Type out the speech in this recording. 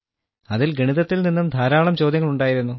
അതിൽ ഗണിതത്തിൽ നിന്നും ധാരാളം ചോദ്യങ്ങൾ ഉണ്ടായിരുന്നു